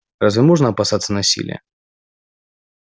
разве можно опасаться насилия